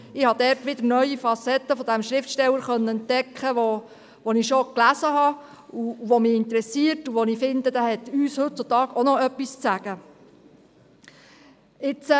Vielmehr habe ich dort wieder neue Facetten dieses Schriftstellers entdecken können, den ich schon gelesen habe und der mich interessiert und von dem ich finde, dass er uns auch heutzutage noch etwas zu sagen hat.